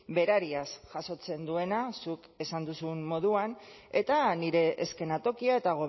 berariaz jasotzen duena zuk esan duzun moduan eta nire eskenatokia eta